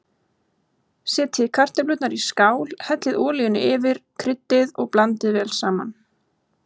Setjið kartöflurnar í skál, hellið olíunni yfir, kryddið og blandið vel saman.